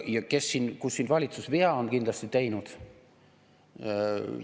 Ja kus on valitsus kindlasti vea teinud?